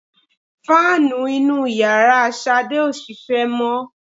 Fáànù inú yàrá Ṣàdé ò ṣiṣẹ́ mọ́